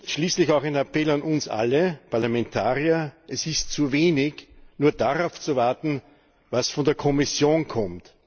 Schließlich auch ein Appell an uns alle, an uns Parlamentarier Es ist zu wenig, nur darauf zu warten, was von der Kommission kommt.